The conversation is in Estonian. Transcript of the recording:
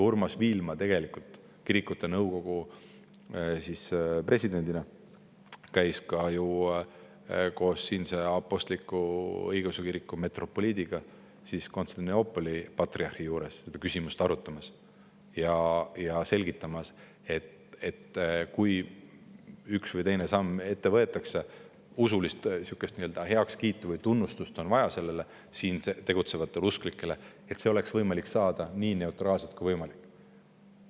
Urmas Viilma tegelikult kirikute nõukogu presidendina käis ka ju koos siinse apostlik-õigeusu kiriku metropoliidiga Konstantinoopoli patriarhi juures seda küsimust arutamas ja selgitamas, et kui üks või teine samm ette võetakse ja kui siin tegutsevatele usklikele on vaja usulist heakskiitu või tunnustust, siis see oleks võimalik saada nii neutraalselt kui võimalik.